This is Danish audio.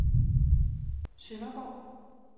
Sønderborg